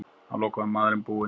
Að lokum var maðurinn búinn.